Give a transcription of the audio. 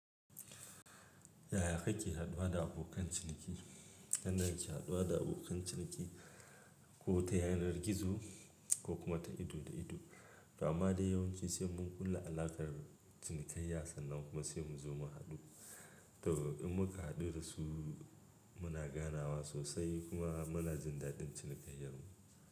Yaya kake haɗuwa da abokan ciniki? Yanda na ke haduwa da abokan cikin ko ta yanar gizo ko kuma ta ido da ido, amma dai yawanci sai mun kulla alakar cinikayya sannan kuma sai mu zo mu haɗu. To, in muka haɗu da su muna ganawa sosai kuma muna jin daɗin cinikayyar mu.